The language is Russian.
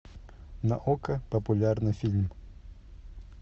на окко популярный фильм